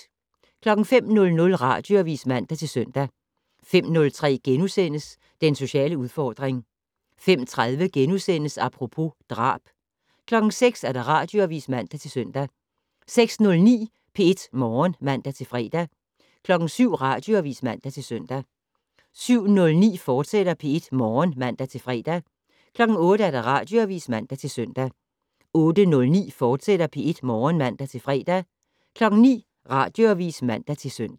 05:00: Radioavis (man-søn) 05:03: Den sociale udfordring * 05:30: Apropos - drab * 06:00: Radioavis (man-søn) 06:09: P1 Morgen (man-fre) 07:00: Radioavis (man-søn) 07:09: P1 Morgen, fortsat (man-fre) 08:00: Radioavis (man-søn) 08:09: P1 Morgen, fortsat (man-fre) 09:00: Radioavis (man-søn)